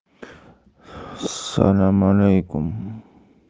салам алейкум